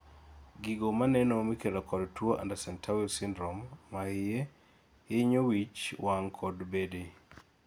gigo maneno mikelo kod tuo Andersen Tawil syndrome mahie hinyo wich, wang' kod bede